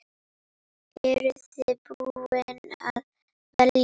Eru þið búin að velja?